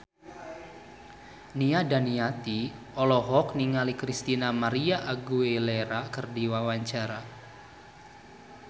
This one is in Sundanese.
Nia Daniati olohok ningali Christina María Aguilera keur diwawancara